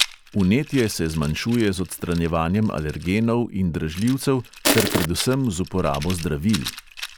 Vnetje se zmanjšuje z odstranjevanjem alergenov in dražljivcev ter predvsem z uporabo zdravil.